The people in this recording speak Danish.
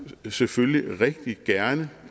selvfølgelig rigtig gerne